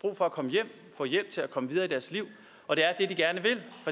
brug for at komme hjem få hjælp til at komme videre i deres liv og det er